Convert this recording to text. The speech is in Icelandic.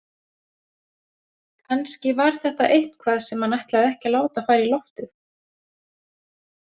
Kannski var þetta eitthvað sem hann ætlaði ekki að láta fara í loftið.